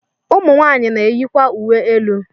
Ụmụ nwaanyị na-eyikwa uwe elu.